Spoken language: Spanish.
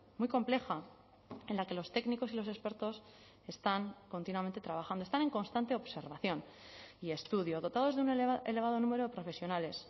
muy compleja en la que los técnicos y los expertos están continuamente trabajando están en constante observación y estudio dotados de un elevado número de profesionales